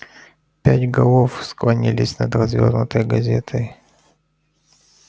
пять голов склонились над развёрнутой газетой